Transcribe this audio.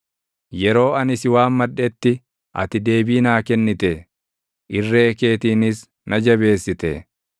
Yeroo ani si waammadhetti ati deebii naa kennite; irree keetiinis na jabeessite.